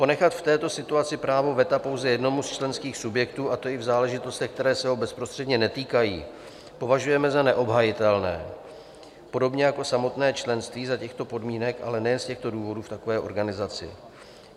Ponechat v této situaci právo veta pouze jednomu z členských subjektů, a to i v záležitostech, které se ho bezprostředně netýkají, považujeme za neobhajitelné, podobně jako samotné členství za těchto podmínek, ale nejen z těchto důvodů v takové organizaci.